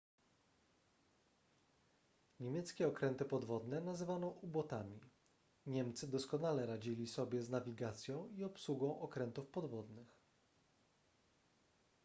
niemieckie okręty podwodne nazywano u-botami niemcy doskonale radzili sobie z nawigacją i obsługą okrętów podwodnych